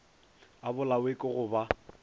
a bolawe ke go ba